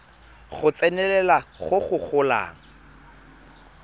go tsenelela go go golang